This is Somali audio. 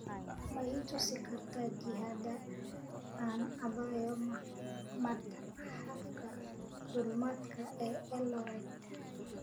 ma i tusi kartaa jihada aan aadayo matxafka duulimaadka ee eldoret